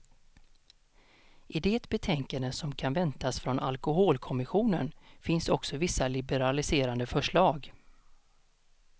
I det betänkande som kan väntas från alkoholkommissionen finns också vissa liberaliserande förslag.